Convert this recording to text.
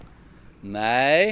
nei